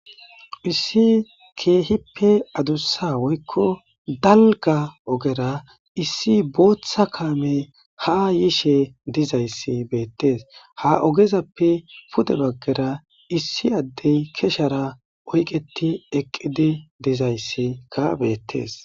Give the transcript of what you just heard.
Issi keehppe adusa woykko dalgga ogera issi botha kame ya yishe diza kame beettes.ha ogezappe pude baggara diza issi adde keshera oyiqqeti eqqi diza issika beetttes.